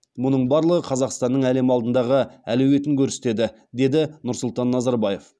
мұның барлығы қазақстанның әлем алдындағы әлеуетін көрсетеді деді нұрсұлтан назарбаев